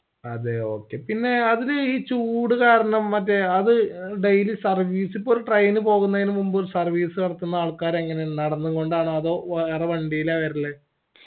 അതേ okay പിന്നേ അതിൽ ഈ ചൂട് കാരണം മറ്റേ അത് daily service ഇപ്പൊ ഒരു train പോക്കുന്നെന് മുനമ്പ് ഒരു service നടത്തുന്ന ആൾക്കാർ എങ്ങനെ നടന്നും കൊണ്ടാണോ അതൊ വണ്ടീല വെർൽ